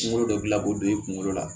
Kunkolo dɔ dilan ko don i kungolo la